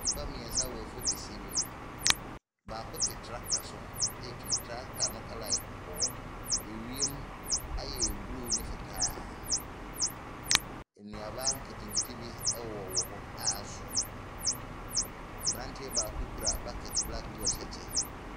Nnipa mmeɛnsa wɔ afuo kɛseɛ bi mu. Baako te tractor so retwi. Tractoe no colour yɛ kɔkɔɔ. Wiem ayɛ blue ne fitaa. Nnuaba nketenkete wowɔ wowɔ hɔ a aso. Aberanteɛ baako kura bucket black na ɔhyɛ kyɛ.